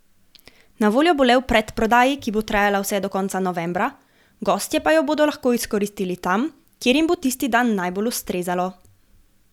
Na voljo bo le v predprodaji, ki bo trajala vse do konca novembra, gostje pa jo bodo lahko izkoristili tam, kjer jim bo tisti dan najbolj ustrezalo.